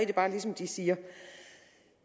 det bare som de siger